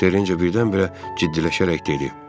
Terrencə birdən-birə ciddiləşərək dedi: